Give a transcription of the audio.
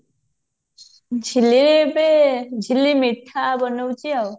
ଝିଲି ଏବେ ଝିଲି ମିଠା ବନଉଛି ଆଉ